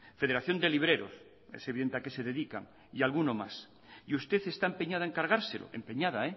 federación de libreros es evidente a qué se dedican y algunos más y usted está empeñada en cargárselo empeñada